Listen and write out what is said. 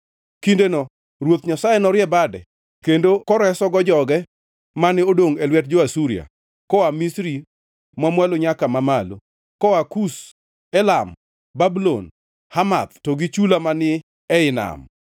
Kindeno Ruoth Nyasaye norie bade kendo koresogo joge mane odongʼ e lwet jo-Asuria, koa Misri mamwalo nyaka mamalo, koa Kush, Elam, Babulon, Hamath to gi chula manie ii nam.